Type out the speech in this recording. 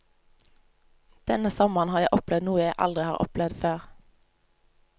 Denne sommeren har jeg opplevd noe jeg aldri har opplevd før.